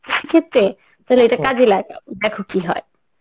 সেক্ষেত্রে তাহলে এটা কাজে লাগবও দেখো কি হয়.